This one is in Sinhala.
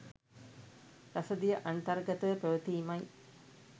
රසදිය අන්තර්ගතව පැවතීමයි.